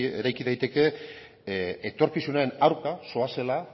eraiki daiteke etorkizunaren aurka zoazela